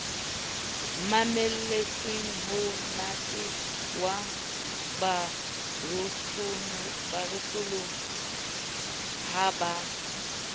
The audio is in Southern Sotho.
mamelletsemonate wa borosolo ha bo